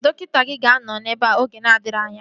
Dọkịta gị ga-anọ ebea oge na-adịghị anya